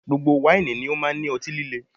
Gbogbo wáìnì ni ó máa ń ní ọtí líle